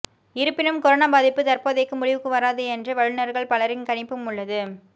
இருப்பினும் கொரோனா பாதிப்பு தற்போதைக்கு முடிவுக்கு வராது என்றே வல்லுநர்கள் பலரின் கணிப்பும் உள்ளது